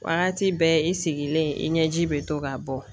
Wagati bɛɛ i sigilen i ɲɛ ji bɛ to ka bɔ